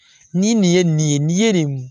Ni nin ye nin ye nin ye nin